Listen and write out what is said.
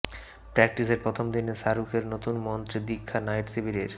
প্র্যাক্টিসের প্রথম দিনে শাহরুখের নতুন মন্ত্রে দীক্ষা নাইট শিবিরের